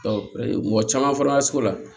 mɔgɔ caman fɔra sugu la